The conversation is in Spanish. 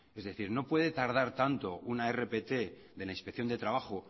es decir no puede tardar tanto una rpt de la inspección de trabajo